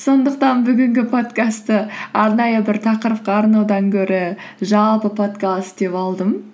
сондықтан бүгінгі подкастты арнайы бір тақырыпқа арнаудан гөрі жалпы подкаст деп алдым